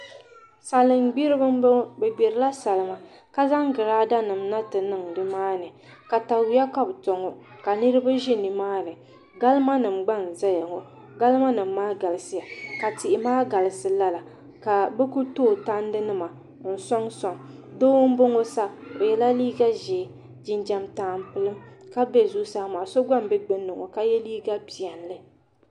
Salin gbiribi n boŋo bi gbirila salima ka zaŋ girada nim na ti niŋ nimaani katawiya ka bi to ŋo ka niraba ʒi nimaani galima nim gba n ʒɛya ŋo galima nim maa galisiya ka tihi maa galisi lala ka bi ku tooi tandi nima n soŋsoŋ doo n boŋo sa o yɛla liiga ʒiɛ jinjɛm tampilim so gba n bɛ gbunni maa ka yɛ liiga piɛlli